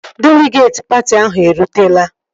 Deligeetị patị ahụ erutela